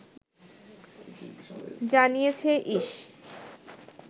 জানিয়েছে ইস